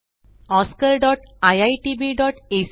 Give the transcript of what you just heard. spoken tutorialorgnmeict intro